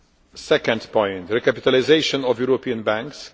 The second point recapitalisation of European banks.